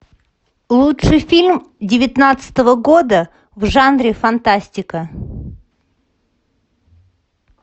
лучший фильм девятнадцатого года в жанре фантастика